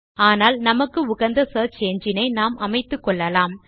ஆனால் நமக்கு உகந்த சியர்ச் என்ஜின் ஐ நாம் அமைத்துக்கொள்ளலாம்